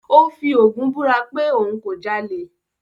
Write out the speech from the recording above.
Ó fi Ògún búra pé òun kò jalè.